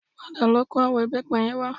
Padà lọ kó àwọn ìbẹ́pẹ yẹn wá